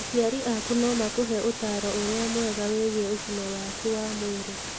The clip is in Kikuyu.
Aciari aku no makũhe ũtaaro ũrĩa mwega wĩgiĩ ũgima waku wa mwĩrĩ.